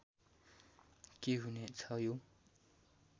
के हुने छ यो